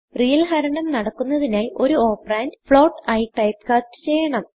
real ഹരണം നടക്കുന്നതിനായി ഒരു operandഫ്ലോട്ട് ആയി ടൈപ്പ്കാസ്റ്റ് ചെയ്യണം